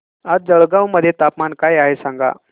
आज जळगाव मध्ये तापमान काय आहे सांगा